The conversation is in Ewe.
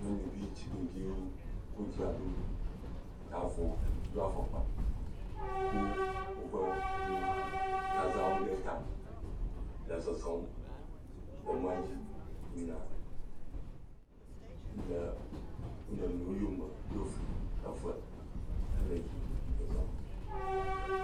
Nyɔnuvi tugbedzewo wodra ɖo ta vɔ, do afɔkpa kɔ woƒe nu zazãwo ɖe ta zɔzɔm le mɔ dzi yina le wonɔnuiwo yome ɖo fli eve hele yim zɔzɔm.